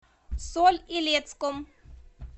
соль илецком